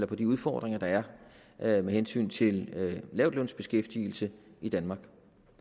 på de udfordringer der er med hensyn til lavtlønsbeskæftigelse i danmark